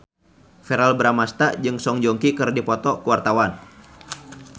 Verrell Bramastra jeung Song Joong Ki keur dipoto ku wartawan